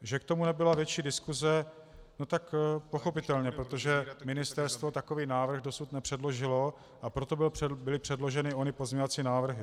Že k tomu nebyla větší diskuse, no tak pochopitelně, protože ministerstvo takový návrh dosud nepředložilo, a proto byly předloženy ony pozměňovací návrhy.